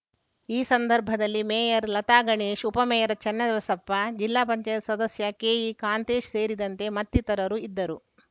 ಈ ಸಂದರ್ಭದಲ್ಲಿ ಮೇಯರ್‌ ಲತಾ ಗಣೇಶ್‌ ಉಪಮೇಯರ್‌ ಚೆನ್ನಬಸಪ್ಪ ಜಿಲ್ಲಾ ಪಂಚಾಯತ್ ಸದಸ್ಯ ಕೆಇ ಕಾಂತೇಶ್‌ ಸೇರಿದಂತೆ ಮತ್ತಿತರರು ಇದ್ದರು